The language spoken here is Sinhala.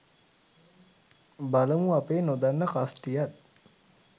බලමු අපේ නොදන්න කස්ටියත්